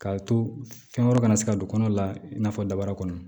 K'a to fɛn wɛrɛ kana se ka don kɔnɔ la i n'a fɔ daba kɔnɔ